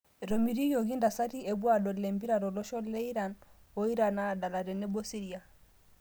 Etomitiokoki ntasati epuo adol empira tolosho le Iran, a Iran naadala tenebo Siria